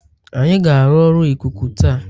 Anyị ga-arụ ọrụ ikuku taa